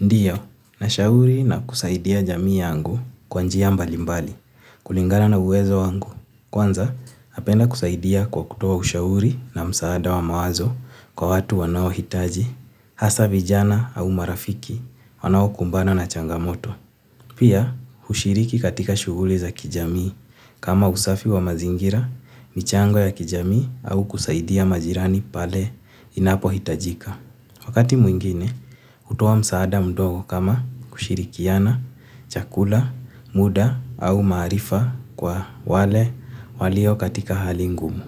Ndiyo, nashauri na kusaidia jamii yangu kwa njia mbalimbali, kulingana na uwezo wangu. Kwanza, napenda kusaidia kwa kutoa ushauri na msaada wa mawazo kwa watu wanaohitaji, hasa vijana au marafiki wanaokumbana na changamoto. Pia, hushiriki katika shughuli za kijamii kama usafi wa mazingira, michango ya kijamii au kusaidia majirani pale inapohitajika. Wakati mwingine, hutoa msaada mdogo kama kushirikiana, chakula, muda au maarifa kwa wale walio katika hali ngumu.